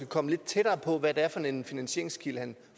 komme lidt tættere på hvad det er for en finansieringskilde han